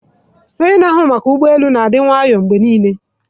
Onye na-ahụ maka ụgbọ elu na-adi nwayo mgbe niile.